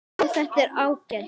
Já, þetta er ágætt.